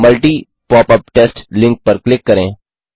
multi popup test link पर click करें